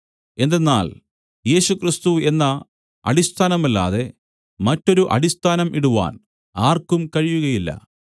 എന്തെന്നാൽ യേശുക്രിസ്തു എന്ന അടിസ്ഥാനമല്ലാതെ മറ്റൊരു അടിസ്ഥാനം ഇടുവാൻ ആർക്കും കഴിയുകയില്ല